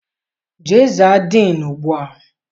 Jee za diinu ugbua!